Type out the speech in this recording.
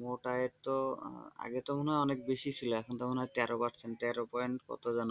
মোট আয়ের তো আগে তো মনে হয় অনেক বেশি ছিল এখন তো মনে হয় তেরো percent তেরো point কত যেন?